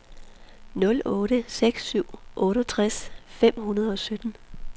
nul otte seks syv syvogtres fem hundrede og sytten